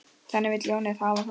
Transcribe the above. Þannig vill ljónið hafa það.